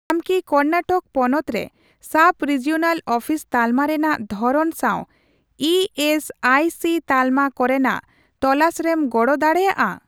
ᱟᱢ ᱠᱤ ᱠᱚᱨᱱᱟᱴᱚᱠ ᱯᱚᱱᱚᱛ ᱨᱮ ᱥᱟᱵᱼᱨᱤᱡᱤᱚᱱᱟᱞ ᱚᱯᱷᱤᱥ ᱛᱟᱞᱢᱟ ᱨᱮᱱᱟᱜ ᱫᱷᱚᱨᱚᱱ ᱥᱟᱣ ᱤ ᱮᱥ ᱟᱭ ᱥᱤ ᱛᱟᱞᱢᱟ ᱠᱚᱨᱮᱱᱟᱜ ᱛᱚᱞᱟᱥᱨᱮᱢ ᱜᱚᱲᱚ ᱫᱟᱲᱮᱭᱟᱜᱼᱟ ?